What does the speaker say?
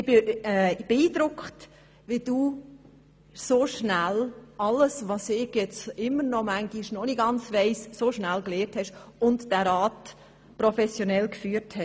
Ich bin beeindruckt, wie schnell du vieles gelernt hast, das ich manchmal immer noch nicht ganz sicher weiss, und wie du dadurch den Rat professionell geführt hast.